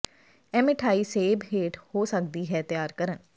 ਇਹ ਮਿਠਆਈ ਸੇਬ ਹੇਠ ਹੋ ਸਕਦੀ ਹੈ ਤਿਆਰ ਕਰਨ